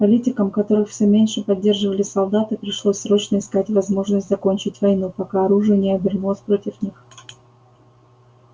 политикам которых всё меньше поддерживали солдаты пришлось срочно искать возможность закончить войну пока оружие не обернулось против них